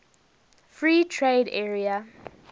free trade area